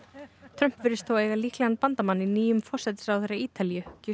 Trump virðist þó eiga líklegan bandamann í nýjum forsætisráðherra Ítalíu